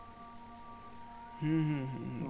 হম হম হম